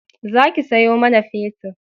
Za ki sayo mana fetir